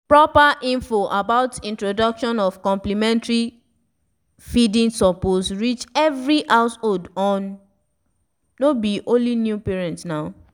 proper info about introduction of complementary feedingsuppose reach every householdno be only new parents naw